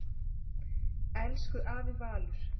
Elsku afi Valur.